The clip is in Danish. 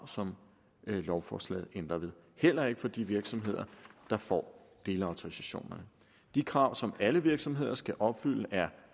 som lovforslaget ændrer ved heller ikke for de virksomheder der får delautorisationer de krav som alle virksomheder skal opfylde er